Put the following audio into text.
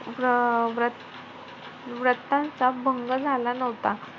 व्र~ व्रतांचा भंग झाला नव्हता.